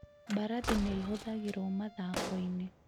Mbarathi nĩ ihũthagĩrũo mathako-inĩ.